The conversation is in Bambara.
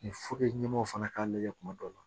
ɲɛmaaw fana k'a lajɛ kuma dɔw la